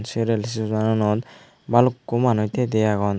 se rail sera anot balukko manus te te agon.